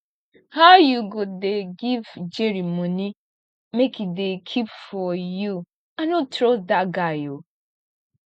how you go dey give jerry money make e dey keep for you i no trust dat guy oo